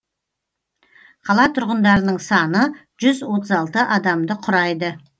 қала тұрғындарының саны жүз отыз алты адамды құрайды